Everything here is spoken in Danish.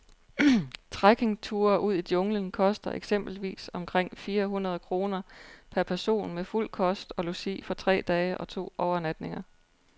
Trekkingture ud i junglen koster eksempelvis omkring fire hundrede kroner per person med fuld kost og logi for tre dage og to overnatninger.